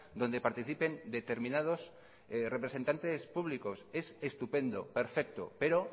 donde participen determinados representantes públicos es estupendo perfecto pero